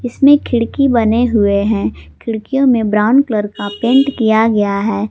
इसमें खिड़की बने हुए हैं खिड़कियों में ब्राउन कलर का पेंट किया गया है।